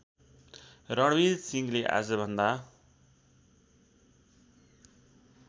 रणवीर सिंहले आजभन्दा